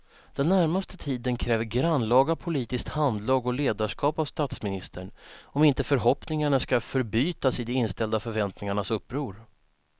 Den närmaste tiden kräver grannlaga politiskt handlag och ledarskap av statsministern om inte förhoppningarna ska förbytas i de inställda förväntningarnas uppror.